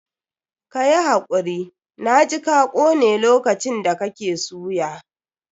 Ka yi hakuri, na ji ka kone lokacin da kake suya.